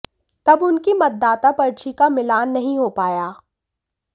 तब उनकी मतदाता पर्ची का मिलान नहीं हो पाया